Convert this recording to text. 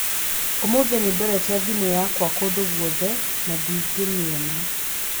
Ũmũthĩ nĩ ndorete thimũ yakwa kũndũ guothe na ndingĩmĩona.